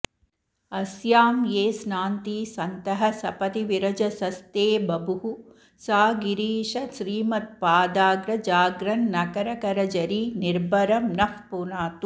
अस्यां ये स्नान्ति सन्तः सपदि विरजसस्ते बभुः सा गिरीश श्रीमत्पादाग्रजाग्रन्नखरकरझरीनिर्भरं नः पुनातु